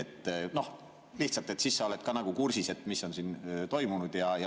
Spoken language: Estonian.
lihtsalt, et siis sa oled ka kursis, mis on siin toimunud.